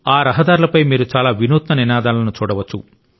ఆ రహదారులపై మీరు చాలా వినూత్న నినాదాలను చూడవచ్చు